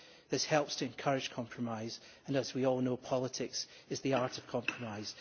This helps to encourage compromise, and as we all know politics is the art of compromise.